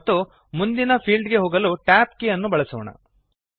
ಮತ್ತು ಮುಂದಿನ ಫೀಲ್ಡ್ ಗೆ ಹೋಗಲು tab ಕೀ ಅನ್ನು ಬಳಸೋಣ